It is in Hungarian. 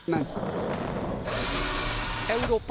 Európa változatlanul sodródik.